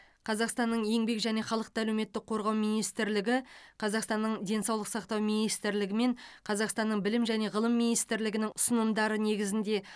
қазақстанның еңбек және халықты әлеуметтік қорғау министрлігі қазақстанның денсаулық сақтау министрлігі мен қазақстанның білім және ғылым министрлігінің ұсынымдары негізінде